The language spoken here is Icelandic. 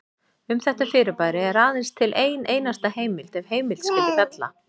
Um þetta fyrirbæri er aðeins til ein einasta heimild ef heimild skyldi kalla.